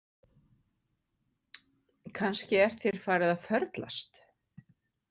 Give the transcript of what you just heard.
Kannski er þér farið að förlast